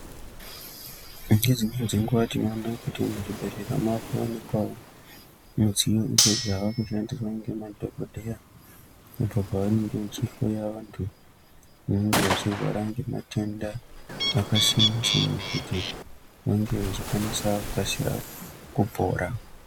Ngedzimweni dzenguwa tinoona kuti muzvibhedhlera mwakuwanikwawo midziyo idzo dzakushandiswa ngemadhokodheya apo pavanenge vachijloya vantu vanenge vechirwara ngematenda akasiyana siyana kuti vange vachikwanisa kukasira kupora.